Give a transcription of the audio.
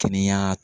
Kɛnɛya